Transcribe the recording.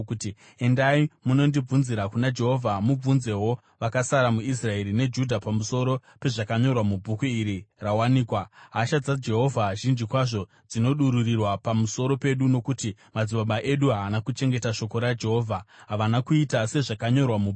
“Endai munondibvunzira kuna Jehovha, mubvunzewo vakasara muIsraeri neJudha pamusoro pezvakanyorwa mubhuku iri rawanikwa. Hasha dzaJehovha zhinji kwazvo dzinodururirwa pamusoro pedu nokuti madzibaba edu haana kuchengeta shoko raJehovha; havana kuita sezvakanyorwa mubhuku iri.”